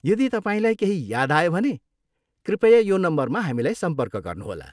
यदि तपाईँलाई केही याद आयो भने कृपया यो नम्बरमा हामीलाई सम्पर्क गर्नुहोला।